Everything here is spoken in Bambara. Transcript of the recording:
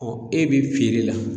Ɔ e bɛ feere la.